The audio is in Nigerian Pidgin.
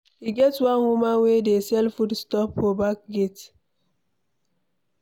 E get one woman wey dey sell foodstuff for back gate